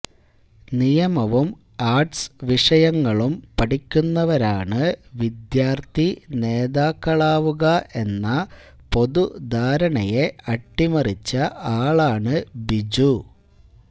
നിയമവും ആർട്സ് വിഷയങ്ങളും പഠിക്കുന്നവരാണ് വിദ്യാർത്ഥി നേതാക്കളാവുക എന്ന പൊതുധാരണയെ അട്ടിമറിച്ച ആളാണ് ബിജു